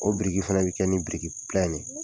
O biriki fɛnɛ bɛ kɛ ni biriki ne.